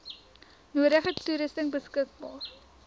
nodige toerusting beskikbaar